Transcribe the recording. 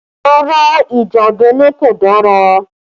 Rárá ìjà abẹ́lé kò dára